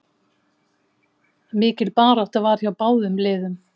Mikil barátta var hjá báðum liðum.